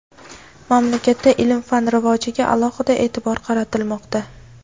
Mamlakatda ilm-fan rivojiga alohida e’tibor qaratilmoqda.